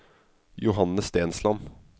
Johanne Stensland